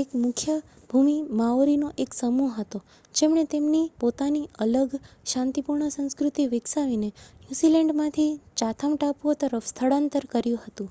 એ મુખ્ય ભૂમિ માઓરીનો એક સમૂહ હતો જેમણે તેમની પોતાની અલગ શાંતિપૂર્ણ સંસ્કૃતિ વિકસાવીને ન્યૂઝીલેન્ડમાંથી ચાથમ ટાપુઓ તરફ સ્થળાંતર કર્યું હતું